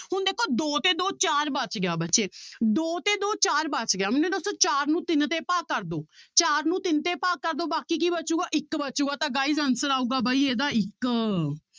ਹੁਣ ਦੇਖੋ ਦੋ ਤੇ ਦੋ ਚਾਰ ਬਚ ਗਿਆ ਬੱਚੇ ਦੋ ਤੇ ਦੋ ਚਾਰ ਬਚ ਗਿਆ ਮੈਨੂੰ ਦੱਸੋ ਚਾਰ ਨੂੰ ਤਿੰਨ ਤੇ ਭਾਗ ਕਰ ਦਓ, ਚਾਰ ਨੂੰ ਤਿੰਨ ਤੇ ਭਾਗ ਕਰ ਦਓ ਬਾਕੀ ਕੀ ਬਚੇਗਾ ਇੱਕ ਬਚੇਗਾ ਤਾਂ guys answer ਆਊਗਾ ਬਾਈ ਇਹਦਾ ਇੱਕ।